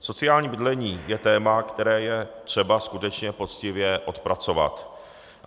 Sociální bydlení je téma, které je třeba skutečně poctivě odpracovat.